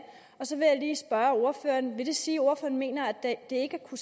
og så vil jeg lige spørge ordføreren vil det sige at ordføreren mener at det ikke har